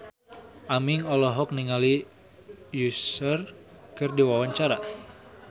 Aming olohok ningali Usher keur diwawancara